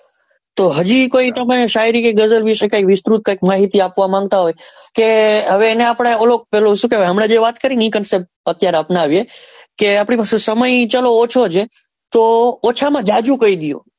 તો હજુ કઈ ગઝલ કે શાયરી વિષે વિસ્તૃત કઈ કઈક માહિતી આપવા માંગતા હોય કે હવે આપડે ઓલો પેલું શું કેવાય અત્યારે વાત કરી કે ઓછા માં જાજુ કહી દેવું.